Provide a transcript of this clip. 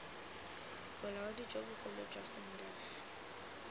bolaodi jo bogolo jwa sandf